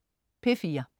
P4: